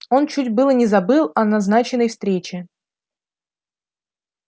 он чуть было не забыл о назначенной встрече